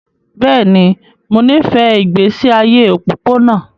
Bẹ́ẹ̀ ni, mo nífẹ̀ẹ́ ìgbésí ayé òpópónà